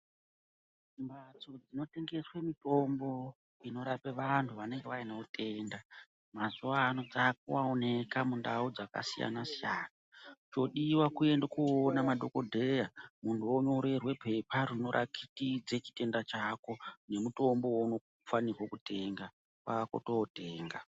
Mhatso dzinotengeswe mitombo inorape vantu vanenge vaine utenda mazuwa ano dzakuoneka mundau dzakasiyanasiyana, chodiwa kuende koone madhokodheya muntu wonyorerwe pepa rinoratidze chitenda chako nemutombo weunofanirwe kutenga ,kwaa kutootenga.